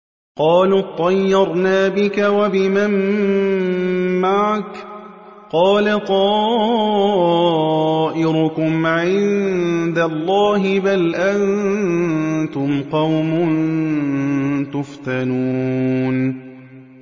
قَالُوا اطَّيَّرْنَا بِكَ وَبِمَن مَّعَكَ ۚ قَالَ طَائِرُكُمْ عِندَ اللَّهِ ۖ بَلْ أَنتُمْ قَوْمٌ تُفْتَنُونَ